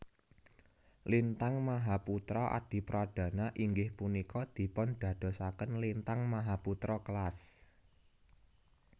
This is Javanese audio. Lintang Mahaputra Adipradana inggih punika dipundadosaken Lintang Mahaputra kelas